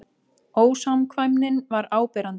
Ósamkvæmnin var áberandi.